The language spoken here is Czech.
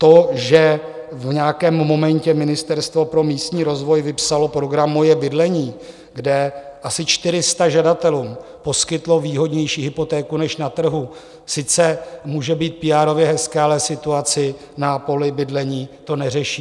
To, že v nějakém momentě Ministerstvo pro místní rozvoj vypsalo program Moje bydlení, kde asi 400 žadatelů poskytlo výhodnější hypotéku než na trhu, sice může být píárově hezké, ale situaci na poli bydlení to neřeší.